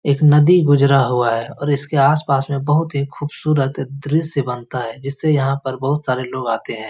एक नदी गुजरा हुआ है और इसके आसपास में बहुत ही खूबसूरत दृश्य बनता है जिससे यहाँ पर बहुत सारे लोग आते हैं।